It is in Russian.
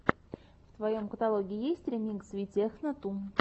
в твоем каталоге есть ремикс витехно ту